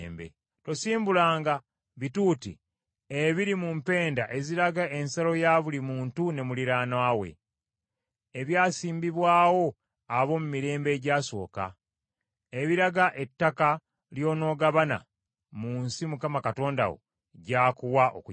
Tosimbulanga bituuti ebiri mu mpenda eziraga ensalo ya buli muntu ne muliraanwa we, ebyasimbibwawo ab’omu mirembe egyasooka, ebiraga ettaka ly’onoogabana mu nsi Mukama Katonda wo gy’akuwa okugirya.